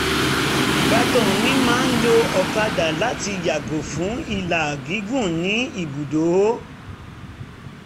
ìbátan mi máa ń lo ọ̀kàdà láti yàgò fún ìlà um gígùn ní ibùdó